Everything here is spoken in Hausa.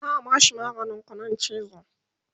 za'a bashi maganin ƙuɗin chizo